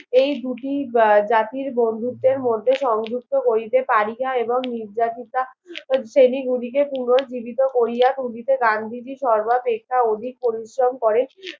এই দুটি বা জাতির বন্ধুত্বের মধ্যে সংযুক্ত করিতে পারিয়া এবং নির্যাতিতা সেলিগুড়িকে পুরো জীবিত কোরিয়া গান্ধীজি সর্ব পেক্ষা অধিক পরিশ্রম করেন